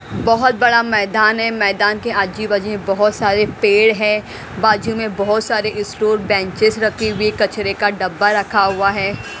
बहोत बड़ा मैदान है मैदान के आजी बाजी में बहुत सारे पेड़ है बाजू में बहुत सारे स्टोर बेंचेस रखी हुई कचरे का डब्बा रखा हुआ है।